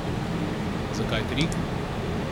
Zakaj tri?